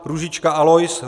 Růžička Alois